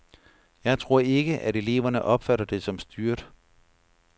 Jeg tror ikke, at eleverne opfatter det som styret.